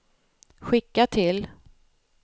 skicka till